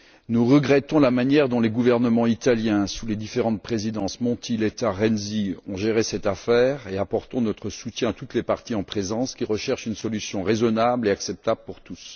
Nous regrettons la manière dont les gouvernements italiens, sous les différentes présidences Monti, Letta et Renzi, ont géré cette affaire et apportons notre soutien à toutes les parties en présence qui recherchent une solution raisonnable et acceptable pour tous.